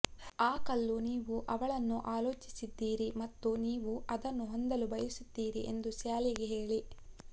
ಆ ಕಲ್ಲು ನೀವು ಅವಳನ್ನು ಆಲೋಚಿಸಿದ್ದೀರಿ ಮತ್ತು ನೀವು ಅದನ್ನು ಹೊಂದಲು ಬಯಸುತ್ತೀರಿ ಎಂದು ಸ್ಯಾಲಿಗೆ ಹೇಳಿ